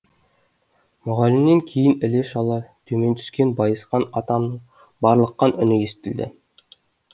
мұғалімнен кейін іле шала төмен түскен байысқан атамның барлыққан үні естілді